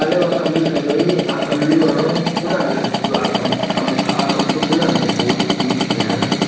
kam nu thang e aga kamnu a kunen aga kam ka kunen phai pa tepu ama kamu .]